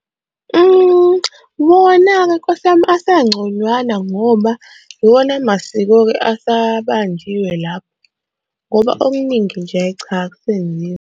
Wona-ke Nkosi yami asengconywana ngoba iwona masiko-ke asabanjiwe lapho ngoba okuningi nje hhayi cha akusenziwa.